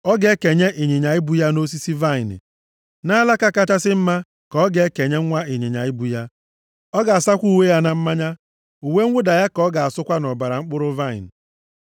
Ọ ga-ekenye ịnyịnya ibu ya nʼosisi vaịnị, nʼalaka kachasị mma ka ọ ga-ekenye nwa ịnyịnya ibu ya. + 49:11 Nke a na-egosipụta ịba ụba nʼebe ọ dị ukwuu, maọbụ mmadụ ịbụ ọgaranya. Ọ ga-asakwa uwe ya na mmanya. Uwe mwụda ya ka ọ ga-asụkwa nʼọbara mkpụrụ vaịnị.